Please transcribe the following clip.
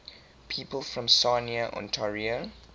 people from sarnia ontario